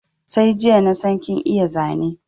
Sai jiya nasan kin iya Zane